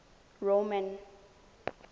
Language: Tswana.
roman